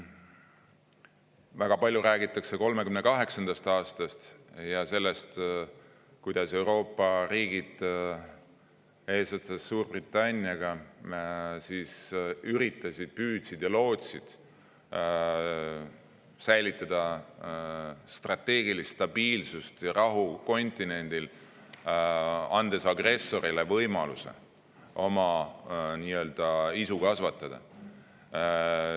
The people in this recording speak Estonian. Väga palju räägitakse 1938. aastast ja sellest, kuidas Euroopa riigid eesotsas Suurbritanniaga üritasid, püüdsid ja lootsid säilitada strateegilist stabiilsust ja rahu kontinendil, andes agressorile võimaluse oma isu kasvatada.